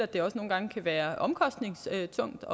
det også nogle gange kan være omkostningstungt